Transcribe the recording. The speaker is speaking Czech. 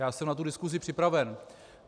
Já jsem na tu diskusi připraven.